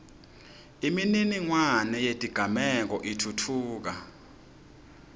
imininingwane yetigameko itfutfuka